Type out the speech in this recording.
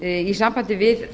í tengslum við